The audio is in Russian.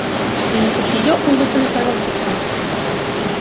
заметив её он быстро направился к ней